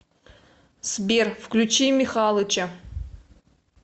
сбер включи михалыча